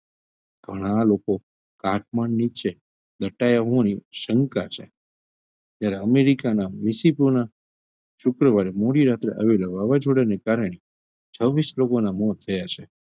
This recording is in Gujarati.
ઘણાં લોકો કાટમાળ નીચે દટાયા હોવાની શંકા છે ત્યારે અમેરિકાના શુક્રવારે મોડી રાતે આવેલા વાવાઝોડાના કારણે છ્વીશ લોકોનાં મોત થયા છે.